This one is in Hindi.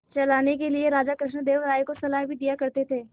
चलाने के लिए राजा कृष्णदेव राय को सलाह भी दिया करते थे